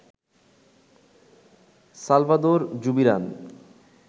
Salvador Zubiran